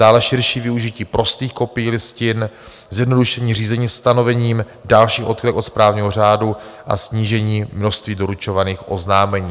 Dále širší využití prostých kopií listin, zjednodušení řízení stanovením dalších odchylek od správního řádu a snížení množství doručovaných oznámení.